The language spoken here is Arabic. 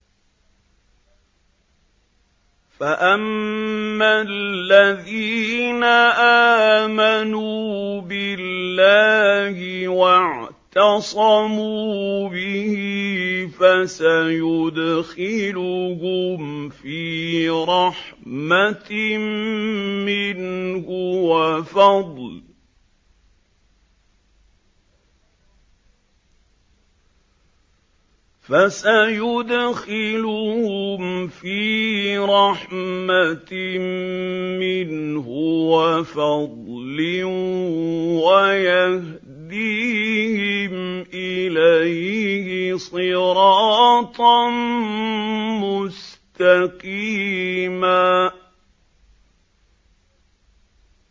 فَأَمَّا الَّذِينَ آمَنُوا بِاللَّهِ وَاعْتَصَمُوا بِهِ فَسَيُدْخِلُهُمْ فِي رَحْمَةٍ مِّنْهُ وَفَضْلٍ وَيَهْدِيهِمْ إِلَيْهِ صِرَاطًا مُّسْتَقِيمًا